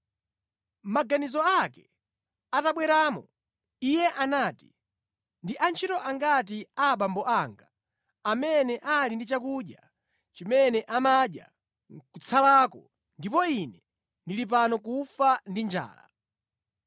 “Maganizo ake atabweramo, iye anati, ‘Ndi antchito angati a abambo anga amene ali ndi chakudya chimene amadya nʼkutsalako ndipo ine ndili pano kufa ndi njala!